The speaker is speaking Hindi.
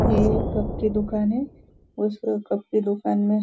यह कप की दुकान है उस यह कप की दुकान मे --